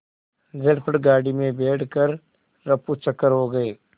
झटपट गाड़ी में बैठ कर ऱफूचक्कर हो गए